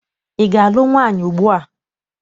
Ị ga- alụ nwaanyị ugbua?